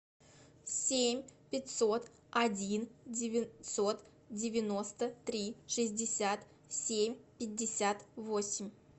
семь пятьсот один девятьсот девяносто три шестьдесят семь пятьдесят восемь